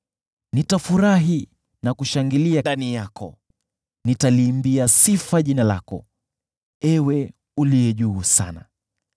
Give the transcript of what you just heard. Nitafurahi na kushangilia ndani yako. Nitaliimbia sifa jina lako, Ewe Uliye Juu Sana.